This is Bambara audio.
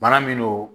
Bana min don